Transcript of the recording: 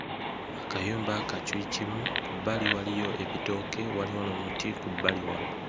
Akayumba ka kyuyikimu ku bbali waliyo ebitooke waliwo n'omuti ku bbali wano.